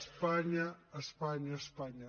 espanya espanya espanya